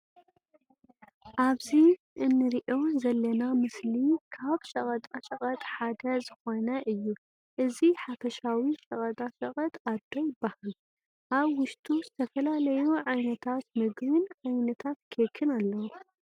ኣብዚ እንርእዮ ዘለና ምስሊ ካብ ሸቀጣ ሸቀጥ ሓደ ዝኮነ እዩ። እዚ ሓፈሻዊ ሸቀጣ ሸቀጥ ኣዶ ይበሃል። ኣብ ውሽጡ ዝተፈላለዩ ዓይነታት ምግብን ዓይነታት ኬክን ኣለው።